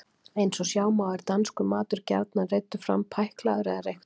Eins og sjá má er danskur matur gjarnan reiddur fram pæklaður eða reyktur.